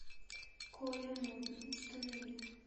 коля модный установи